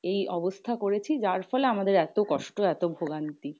এই অবস্থা করেছি যার ফল আমাদের এত কষ্ট এত ভোগান্তি।